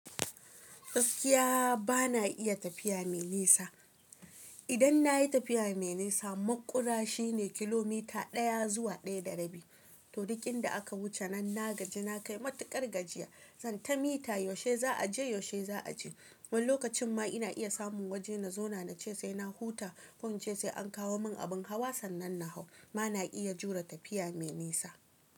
Gaskiya bana iya tafiya mai nisa. Idan na yi tafiya mai nisa, makura shine kilomita ɗaya zuwa ɗaya da rabi. To, duk inda aka wuce nan na gaji na kai matuƙar gajiya. Zan ta mita yaushe za a je, yaushe za a je. Wani lokacin ma ina iya samun waje na zauna na ce sai na huta ko in ce sai an kawo mun abin hawa sannan na hau. Ba na iya jure tafiya mai nisa.